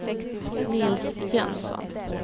Nils Jönsson